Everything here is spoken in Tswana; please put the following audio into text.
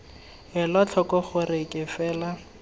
ela tlhoko gore ke fela